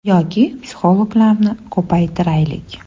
Yoki psixologlarni ko‘paytiraylik.